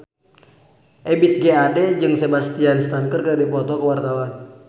Ebith G. Ade jeung Sebastian Stan keur dipoto ku wartawan